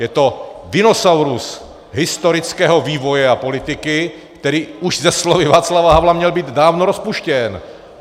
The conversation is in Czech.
Je to dinosaurus historického vývoje a politiky, který už se slovy Václava Havla měl být dávno rozpuštěn.